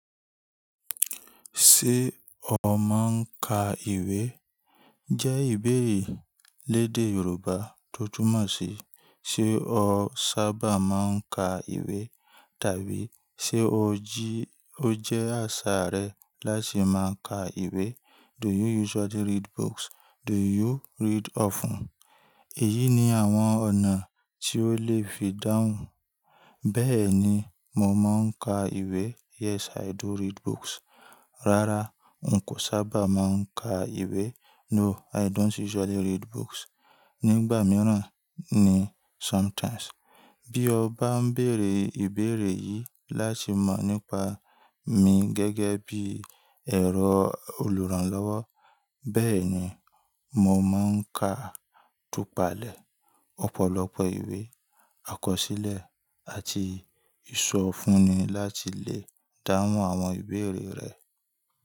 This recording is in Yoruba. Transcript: Ṣé o máa ń ka ìwé? Jẹ́ ìbéèrè lédè Yorùbá tó túmọ̀ sí: ṣe ó sábà máa ń ka ìwé? Tàbí ṣe ó jí ó jẹ́ àṣà rẹ láti máa ka ìwé? Do you usually read books? Do you read often? Èyí ni àwọn ọ̀nà tí ó lè fi dáhùn. Bẹ́ẹ̀ni, mo máa ń ka ìwé. Yes, I do read books. Rárá, n kò sábà máa ń ka ìwé. No, I don't usually read books. Nígbà mìíràn ni sometimes. Tí o ba n béèrè ìbéèrè yìí láti mọ nipa mi gẹ́gẹ́ bi ẹ̀rọ oluranlọwọ. Bẹ́ẹ̀ni, mo máa ń ka, túpàlẹ̀, ọ̀pọ̀lọpọ̀ ìwé àkọsílẹ̀ àti ìsọfúnni láti lè dáhùn àwọn ìbéèrè rẹ.